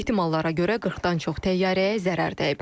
Ehtimallara görə 40-dan çox təyyarəyə zərər dəyib.